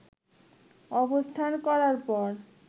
অবস্থান করার পর